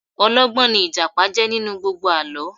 Ọlọ́gbọ́n ní Ìjàpá jẹ́ nínú gbogbo àlọ́